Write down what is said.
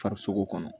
Farisogo kɔnɔ